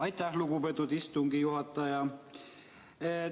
Aitäh, lugupeetud istungi juhataja!